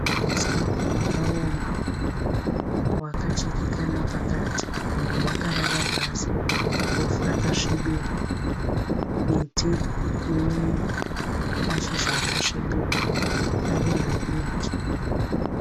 Uswa hwakaoma, hwakachekeka napakati umwe hwakarara pasi muvhu rakasvibira. Miti inemashizha akasvibira, ari madiki.